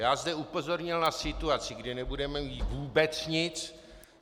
Já zde upozornil na situaci, kdy nebude mít vůbec nic.